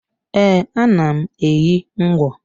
E, ana m enyi ngwo